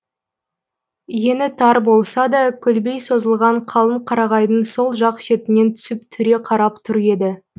ені тар болса да көлбей созылған қалың қарағайдың сол жақ шетінен түсіп түре қарап тұр еді